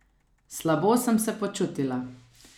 Slabo sem se počutila.